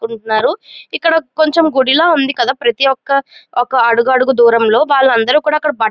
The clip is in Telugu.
చేసుకుంటున్నారు. ఇక్కడ కుంచెం గుడిలా ఉంది కదా ప్రతి ఒక్క ఒక అడుగడుగు దూరంలో వాళ్ళందరూ కూడా అక్కడ బట్ --